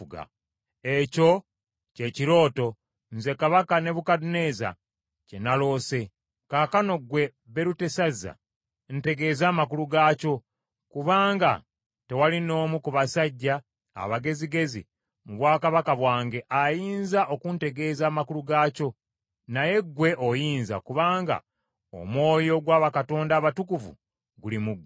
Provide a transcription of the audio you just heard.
“Ekyo kye kirooto, nze Kabaka Nebukadduneeza kye naloose. Kaakano ggwe Berutesazza, ntegeeza amakulu gaakyo kubanga tewali n’omu ku basajja abagezigezi mu bwakabaka bwange ayinza okuntegeeza amakulu gaakyo. Naye ggwe oyinza, kubanga omwoyo ogwa bakatonda abatukuvu guli mu ggwe.”